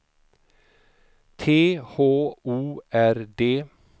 T H O R D